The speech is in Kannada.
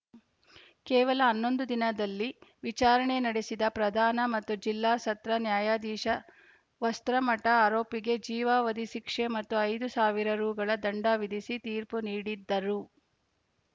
ಕೇವಲ ಹನ್ನೊಂದು ದಿನದಲ್ಲಿ ವಿಚಾರಣೆ ನಡೆಸಿದ ಪ್ರಧಾನ ಮತ್ತು ಜಿಲ್ಲಾ ಸತ್ರ ನ್ಯಾಯಾಧೀಶ ವಸ್ತ್ರಮಠ ಆರೋಪಿಗೆ ಜೀವಾವಧಿ ಶಿಕ್ಷೆ ಮತ್ತು ಐದು ಸಾವಿರ ರುಗಳ ದಂಡ ವಿಧಿಸಿ ತೀರ್ಪು ನೀಡಿದ್ದರು